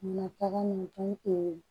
Na taga nin